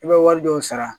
I bɛ wari dɔw sara